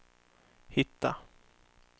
hitta